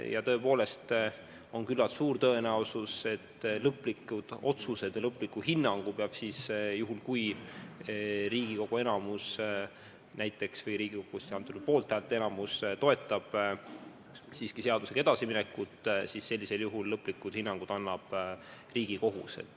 Ja tõepoolest on küllalt suur tõenäosus, et lõplikud otsused ja lõpliku hinnangu peab juhul, kui Riigikogu enamus toetab siiski seadusega edasiminekut, andma Riigikohus.